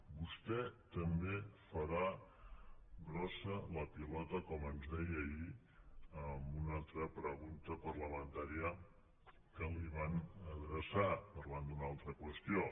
vostè també farà grossa la pilota com ens deia ahir en una altra pregunta parlamentària que li van adreçar parlant d’una altra qüestió